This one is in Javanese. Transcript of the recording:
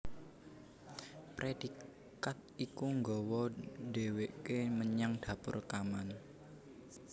Predikat iku nggawa dheweke menyang dapur rekaman